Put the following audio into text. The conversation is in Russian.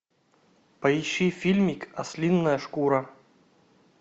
поищи фильмик ослиная шкура